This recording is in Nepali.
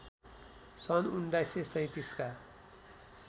सन् १९३७ का